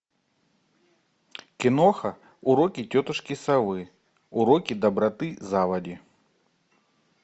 киноха уроки тетушки совы уроки доброты заводи